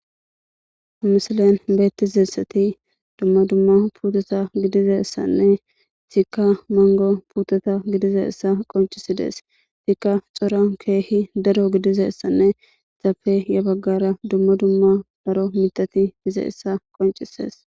ha misilen beettizassati dumma dumma pututa gidizassanne etikka mango putota gidizayissa qoncisidees.etikka cora keehi daro gidizayissanne izappe ya baggara dumma dumma daro mitati dizayissa qoncises.